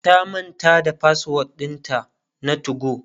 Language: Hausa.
ta manta da password ɗinta na 2go